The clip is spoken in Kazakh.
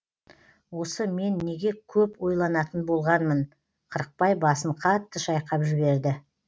осы мен неге көп ойланатын болғанмын қырықбай басын қатты шайқап жіберді